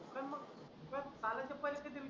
पण मग तुला कालच पैसे दिले